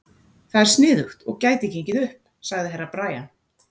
Það er sniðugt og gæti gengið upp, sagði Herra Brian.